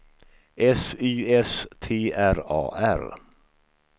S Y S T R A R